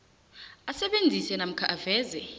asebenzise namkha aveze